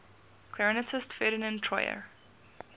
clarinetist ferdinand troyer